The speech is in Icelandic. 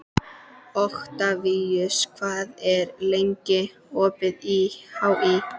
Oktavíus, hvað er lengi opið í HÍ?